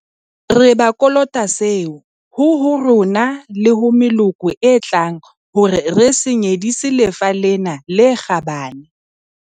Re ba kolota seo, ho ho rona le ho meloko e tlang hore re se nyedisi lefa lena le kgabane.